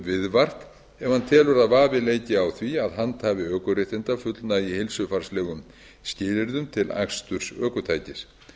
viðvart ef hann telur að vafi leiki á því að handhafi ökuréttinda fullnægi heilsufarslegum skilyrðum til aksturs ökutækis